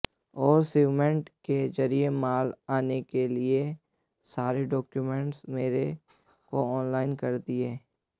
और शिवमेंट के जरिये माल आने के लिए सारे डॉक्यूमेंट मेरे को ऑनलाइन कर दिए